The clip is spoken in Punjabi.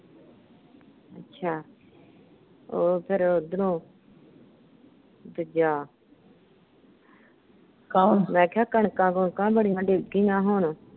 ਅੱਛਾ, ਹੋਰ ਫਿਰ ਓਧਰੋ। ਦੂਜਾ ਮੈਂ ਕਿਹਾ ਕਣਕਾਂ ਕੁਣਕਾਂ ਬੜੀਆਂ ਡਿੱਗ ਗੀਆਂ ਹੁਣ।